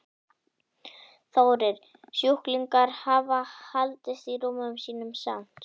Þórir: Sjúklingar hafa haldist í rúmum sínum samt?